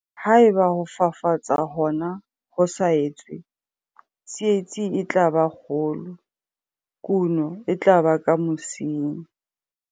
Ha eba ho fafatsa hona ho sa etswe, tsietsi e tla ba kgolo, kuno e tla ba ka mosing.